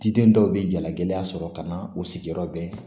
Diden dɔw bɛ jalagɛla sɔrɔ ka na u sigiyɔrɔ bɛn